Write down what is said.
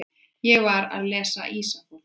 Ég var að lesa Ísafold.